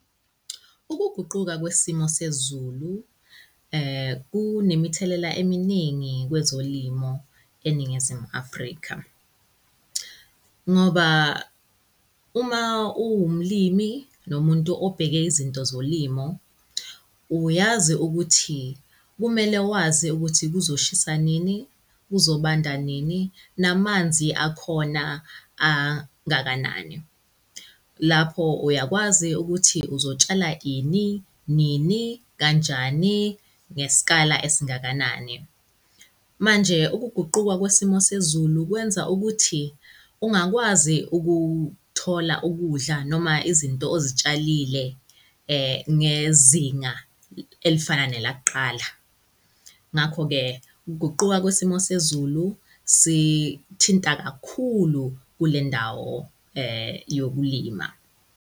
Ukuguquka kwesimo sezulu, kunemithelela eminingi kwezolimo eNingizimu Afrika. Ngoba uma uwumlimi nomuntu obheke izinto zolimo uyazi ukuthi kumele wazi ukuthi kuzoshisa nini, kuzobanda nini, namanzi akhona angakanani. Lapho uyakwazi ukuthi uzotshala ini, nini, kanjani, ngesikala esingakanani. Manje, ukuguquka kwesimo sezulu kwenza ukuthi ungakwazi ukuthola ukudla noma izinto ozitshalile, ngezinga elifana nelakuqala. Ngakho-ke, ukuguquka kwesimo sezulu sithinta kakhulu kule ndawo, yokulima.